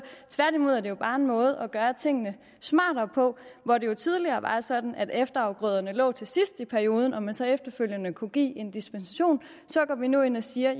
tværtimod er det jo bare en måde at gøre tingene smartere på hvor det jo tidligere var sådan at efterafgrøderne lå til sidst i perioden og man så efterfølgende kunne give en dispensation går vi nu ind og siger